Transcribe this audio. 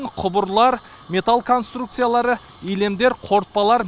құбырлар металл конструкциялары илемдер қорытпалар